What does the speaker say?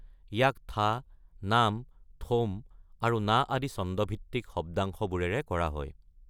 ইয়াক থা, নাম, থোম আৰু না আদি ছন্দভিত্তিক শব্দাংশবোৰেৰে কৰা হয়।